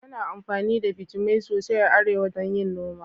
Ana amfani da bijimai sosai a arewa don yin noma